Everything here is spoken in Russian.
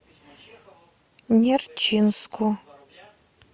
нерчинску